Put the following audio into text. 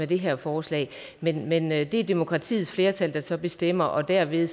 det her forslag men men det er demokratiets flertal der så bestemmer og derved